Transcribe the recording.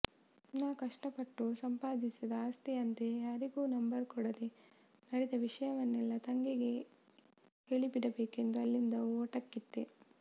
ನಾ ಕಷ್ಟಪಟ್ಟು ಸಂಪಾದಿಸಿದ ಆಸ್ತಿಯಂತೆ ಯಾರಿಗೂ ನಂಬರ್ ಕೊಡದೇ ನಡೆದ ವಿಷಯವನ್ನೆಲ್ಲಾ ತಂಗಿಗೆ ಹೇಳಿಬಿಡಬೇಕೆಂದು ಅಲ್ಲಿಂದ ಓಟ ಕಿತ್ತೆ